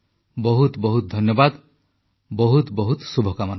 ବହୁତ ବହୁତ ଧନ୍ୟବାଦ ବହୁତ ବହୁତ ଶୁଭକାମନା